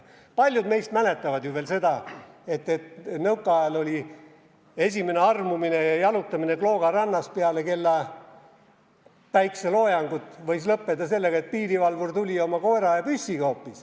Paljud meist mäletavad ju veel seda, et nõukaajal võis esimene armumine ja jalutamine Klooga rannas peale päikeseloojangut lõppeda sellega, et tuli piirivalvur oma koera ja püssiga.